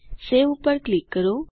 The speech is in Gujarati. સવે ઉપર ક્લિક કરો